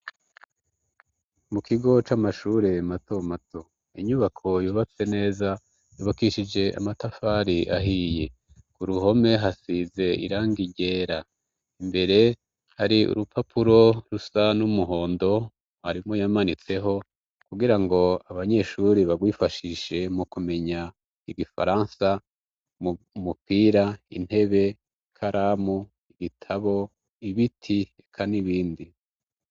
Mu kigo c'amashure mato mato. Inyubako yubatse neza yabukishije amatafari ahiye. Ku ruhome hasize irangi ryera. Imbere hari urupapuro rusa n'umuhondo mwarimu yamanitseho kugira ngo abanyeshuri barwifashishe mu kumenya ibifaransa, umupira, intebe, karamu, ibitabo, ibiti, eka n'ibindi.